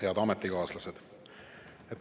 Head ametikaaslased!